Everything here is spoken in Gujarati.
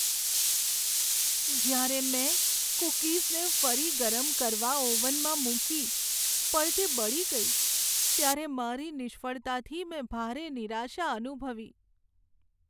જયારે મેં કૂકીઝને ફરી ગરમ કરવા ઓવનમાં મૂકી પણ તે બળી ગઈ ત્યારે મારી નિષ્ફળતાથી મેં ભારે નિરાશા અનુભવી.